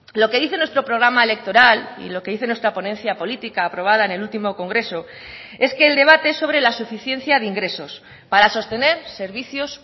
lo que dice nuestro programa electoral y lo que dice nuestra ponencia política aprobada en el último congreso es que el debate sobre la suficiencia de ingresos para sostener servicios